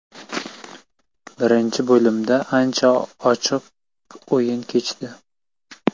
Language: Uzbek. Birinchi bo‘limda ancha ochiq o‘yin kechdi.